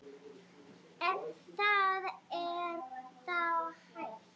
Ef það er þá hægt.